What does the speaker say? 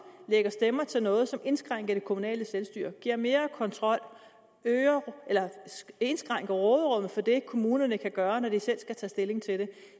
lægger stemmer til noget som indskrænker det kommunale selvstyre giver mere kontrol indskrænker råderummet for det kommunerne kan gøre når de selv skal tage stilling til